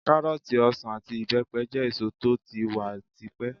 Kárọ́ọ̀tì, ọsàn àti ìbẹ́pẹ jẹ́ èso tó ti wà ti pẹ́.